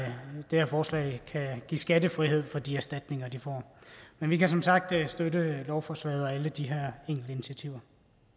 forslag kan give skattefrihed for de erstatninger de får vi kan som sagt støtte lovforslaget og alle de her enkelte initiativer